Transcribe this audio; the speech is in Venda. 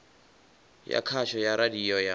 ya khasho ya radio ya